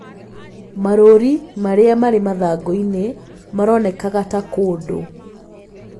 Marũũri marĩa marĩ mathangũ-inĩ maronekaga ta kũndũ